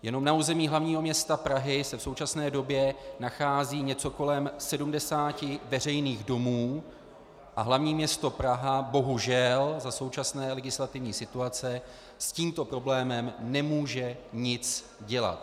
Jenom na území hlavního města Prahy se v současné době nachází něco kolem 70 veřejných domů a hlavní město Praha bohužel za současné legislativní situace s tímto problémem nemůže nic dělat.